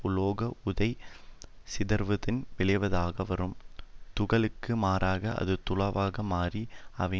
உலோக உறை சிதறுவதன் விளைவாகவரும் துகளுக்கு மாறாக அது தூளாக மாறி அவை